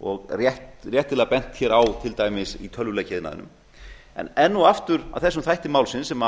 og réttilega bent hér á til dæmis í tölvuleikjaiðnaðinum en enn og aftur að þessum þætti málsins sem